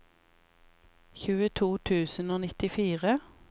tjueto tusen og nittifire